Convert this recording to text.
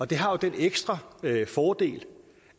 det har jo den ekstra fordel